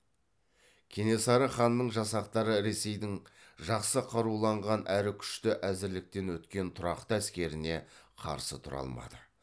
кенесары ханның жасақтары ресейдің жақсы қаруланған әрі күшті әзірліктен өткен тұрақты әскеріне қарсы тұра алмады